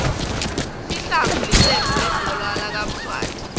sihlangu licembu lihbhola lakamswati